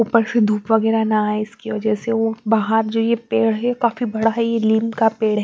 ऊपर से धूप वगैरा ना‌ है इसकी वजह से वो बाहर जो ये पेड़ है काफी बड़ा है नीम का पेड़।